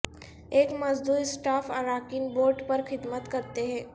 ایک مزدور اسٹاف اراکین بورڈ پر خدمت کرتے ہیں